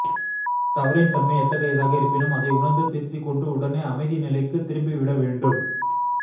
தவறின் தன்மை எத்தகையதாக இருப்பினும் அதை உணர்ந்து திருத்திக்கொண்டு உடனே அமைதி நிலைக்குத் திரும்பிவிட வேண்டும்